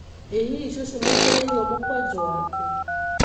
Ĩ hihi cũcũ nĩ atwarĩirwo mũkwanjũ wake?